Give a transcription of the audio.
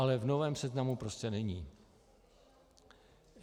Ale v novém seznamu prostě není.